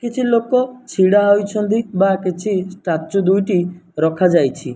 କିଛି ଲୋକ ଛିଡା ହେଇଛନ୍ତି ବା କିଛି ଷ୍ଟାଚୁ ଦୁଇଟି ରଖା ଯାଇଛି।